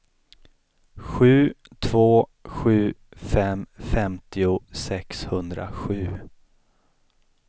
sju två sju fem femtio sexhundrasju